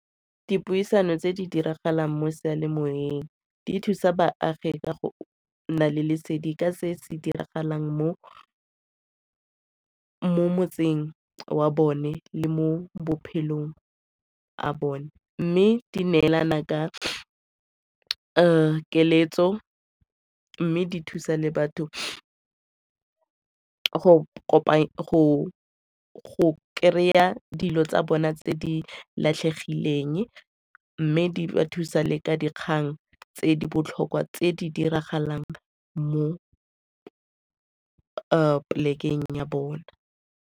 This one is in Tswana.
Dipuisano tse di diragalang mo seyalemoweng di thusa baagi ka go nna le lesedi ka se se diragalang mo motseng wa bone le mo bophelong a bone mme di neelana ka keletso mme di thusa le batho go kry-a dilo tsa bona tse di latlhegileng mme di thusa le ka dikgang tse di botlhokwa tse di diragalang mo polekeng ya bona.